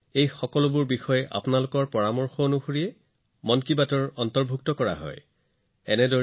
এই সকলোবোৰ বিষয় কেৱল আপোনালোকৰ পৰামৰ্শৰ সৈতে মন কী বাতৰ অংশ হৈ পৰে